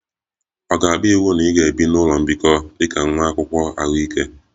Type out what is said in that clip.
Ọ ga-abụ iwu na ị ga-ebi n'ụlọ mbikọ dị ka nwa akwụkwọ ahụike